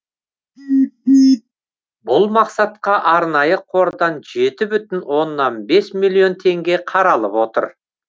бұл мақсатқа арнайы қордан жеті бүтін оннан бес миллион теңге қаралып отыр